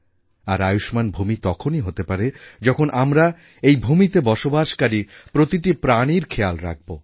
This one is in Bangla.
আর আয়ুষ্মাণ ভূমি তখনই হতে পারে যখন আমরা এই ভূমিতে বসবাসকারী প্রতিটি প্রাণির খেয়াল রাখব